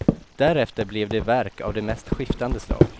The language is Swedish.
Därefter blev det verk av de mest skiftande slag.